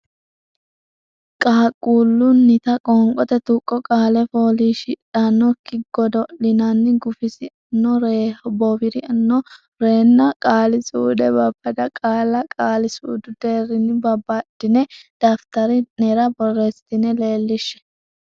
qaaqquullunnita Qoonqote Tuqqo Qaale fooliishsh idh anno kki godo l nni nna gufis anno ree bowir anno ree nna Qaali suude Babbada qaalla qaali suudu deerrinni babbaddine daftari nera borreessitine leellishshe.